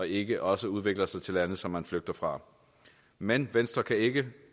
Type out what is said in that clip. ikke også udvikler sig til lande som man flygter fra men venstre kan ikke